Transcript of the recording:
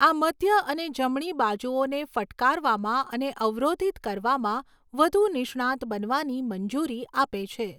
આ મધ્ય અને જમણી બાજુઓને ફટકારવામાં અને અવરોધિત કરવામાં વધુ નિષ્ણાંત બનવાની મંજૂરી આપે છે.